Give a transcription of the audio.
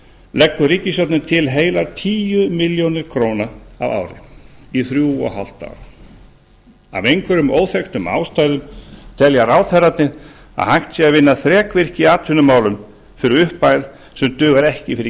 leggur ríkisstjórnin til heilar tíu milljónir króna á ári í þrjú og hálft ár af einhverjum óþekktum ástæðum telja ráðherrarnir að hægt sé að vinna þrekvirki í atvinnumálum fyrir upphæð sem dugar ekki fyrir